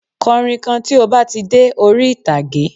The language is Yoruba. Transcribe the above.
Kọrin kan tí o ba tí de ori itage